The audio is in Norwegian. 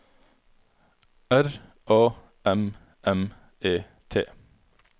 R A M M E T